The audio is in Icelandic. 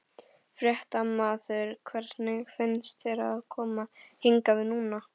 Fréttamaður: Hvernig finnst þér að koma hingað núna?